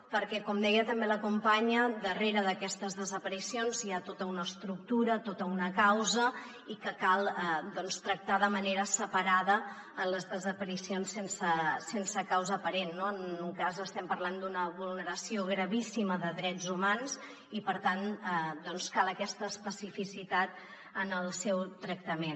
perquè com deia també la companya darrere d’aquestes desaparicions hi ha tota una estructura tota una causa i que cal doncs tractar de manera separada les desaparicions sense causa aparent no en un cas estem parlant d’una vulneració gravíssima de drets humans i per tant doncs cal aquesta especificitat en el seu tractament